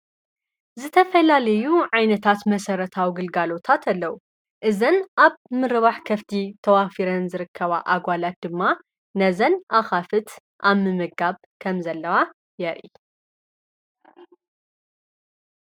ዝተፈላልዩ ዓይነታት መሰረታዊ ግልጋሎት ኣለዉ። እዘን ኣብ ምረባሕ ከፍቲ ተዋፊረን ዝርከባ ኣጓላት ድማ ነዘን ኣኻፍት ኣብ ምምጋብ ከምዘለዋ የርኢ።